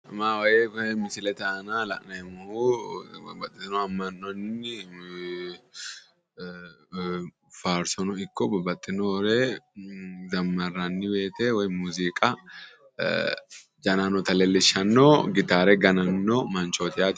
Mawooyye koye misilete aana la'neemmohu babbaxxitino amma'nonni faarsono ikko babbaxxinore zammarranni woyiite woy muziiqa janannota leellishshanno gitaare gananno manchooti yaate